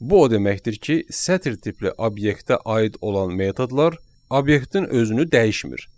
Bu o deməkdir ki, sətir tipli obyektə aid olan metodlar obyektin özünü dəyişmir.